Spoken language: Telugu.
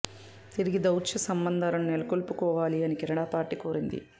తిరిగి దౌత్య సంబంధాలను నెలకొల్పుకోవాలి అని కెనడా పార్టీ కోరింది